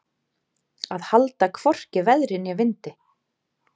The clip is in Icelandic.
Að halda hvorki veðri né vindi